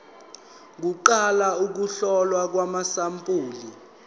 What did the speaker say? kuqala ukuhlolwa kwamasampuli